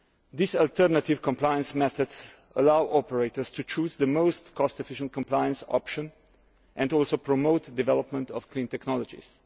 These alternative compliance methods allow operators to choose the most cost efficient compliance option and also promote development of clean technologies.